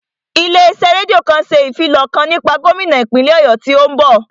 Ilé iṣẹ́ rédíò kan ṣe ìfilọ̀ kan nípa gómínà ìpínlè Ọ̀yọ́ tí ó ń bọ̀